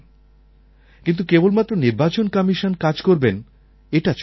কিন্তু কেবলমাত্র নির্বাচন কমিশন কাজ করবেন এটা চলবে না